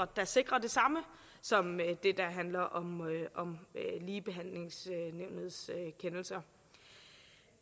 der sikrer det samme som det der handler om ligebehandlingsnævnets kendelser